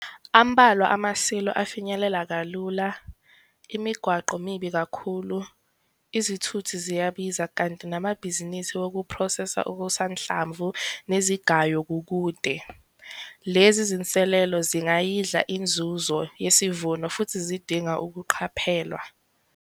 Ambalwa ama-silo afinyeleleka kalula, imigwaqo mibi kakhulu, izithuthi ziyabiza kanti namabhizinisi okuphrosesa okusanhlamvu nezigayo kukude. Lezi zinselelo zingayidla inzuzo yesivuno futhi zidinga ukuqaphelwa.